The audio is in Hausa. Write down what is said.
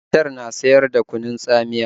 Matar na siyar da kunun tsamiya